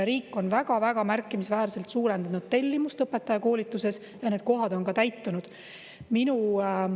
Riik on väga-väga märkimisväärselt suurendanud tellimust õpetajakoolituses ja need kohad on ka täitunud.